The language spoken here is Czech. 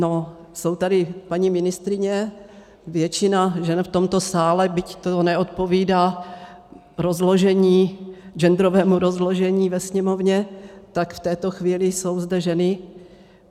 No, jsou tady paní ministryně, většina žen v tomto sále, byť to neodpovídá genderovému rozložení ve Sněmovně, tak v této chvíli jsou zde ženy.